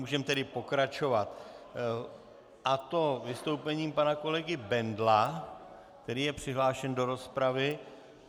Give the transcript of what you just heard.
Můžeme tedy pokračovat, a to vystoupením pana kolegy Bendla, který je přihlášen do rozpravy.